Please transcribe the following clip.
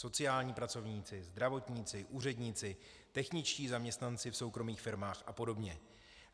Sociální pracovníci, zdravotníci, úředníci, techničtí zaměstnanci v soukromých firmách a podobně.